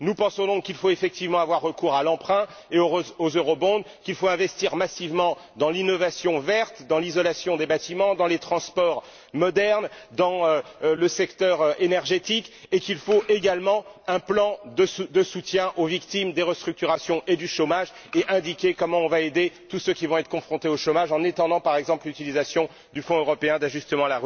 Nous pensons donc qu'il faut effectivement avoir recours à l'emprunt et aux Eurobonds, qu'il faut investir massivement dans l'innovation verte, dans l'isolation des bâtiments, dans les transports modernes, dans le secteur énergétique, et qu'il faut également un plan de soutien aux victimes des restructurations et du chômage, et indiquer comment on va aider tous ceux qui vont être confrontés au chômage, en étendant par exemple l'utilisation du Fonds européen d'ajustement